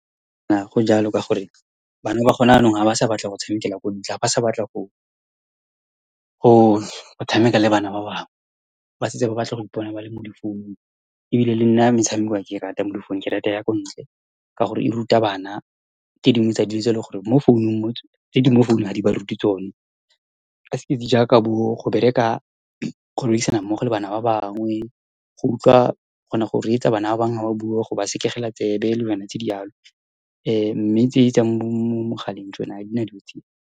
go jalo, ka gore bana ba gona jaanong ha ba sa batla go tshamekela kwa ntle, ha ba sa batla go tshameka le bana ba bangwe. Ba setse ba batla go ipona ba le mo difounung. Ebile le nna, metshameko ha ke rate ya mo difounung. Ke rata ya kwa ntle, ka gore e ruta bana tse dingwe tsa dilo tse ele gore di mo founung , tse di mo founung ha di ba ruti tsone , jaaka bo go bereka, go berekisana mmogo le bana ba bangwe, go utlwa, o kgona go reetsa bana ba bangwe ha ba bua, go ba sekegela tsebe, le dilwana tse di jalo, . Mme tse tsa mo mogaleng tsone ha di na dilo tseo.